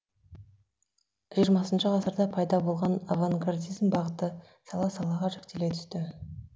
жиырмасыншы ғасырда пайда болған авангардизм бағыты сала салаға жіктеле түсті